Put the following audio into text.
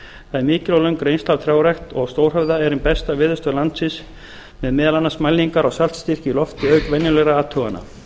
er mikil og löng reynsla af trjárækt og á stórhöfða er ein besta veðurstöð landsins með meðal annars mælingar á saltstyrk í lofti auk venjulegra athugana